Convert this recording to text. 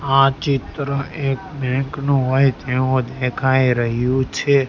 આ ચિત્ર કોઈ એક બેંક નું હોય તેવું દેખાઈ રહ્યું છે.